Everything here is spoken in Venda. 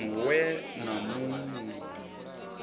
ṅ we na mu ṅ